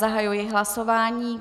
Zahajuji hlasování.